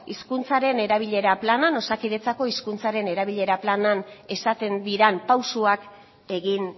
hizkuntzaren erabilera planean osakidetza hizkuntzaren erabilera planean esaten diren pausuak egin